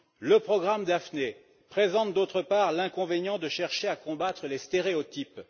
Le programme Daphné présente, en outre, l'inconvénient de chercher à combattre les stéréotypes.